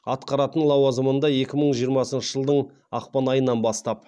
атқаратын лауазымында екі мың жиырмасыншы жылдың ақпан айынан бастап